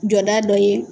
Jɔda dɔ ye